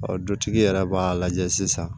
Ɔ dutigi yɛrɛ b'a lajɛ sisan